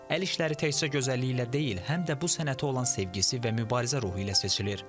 Əl işləri təkcə gözəlliyi ilə deyil, həm də bu sənətə olan sevgisi və mübarizə ruhu ilə seçilir.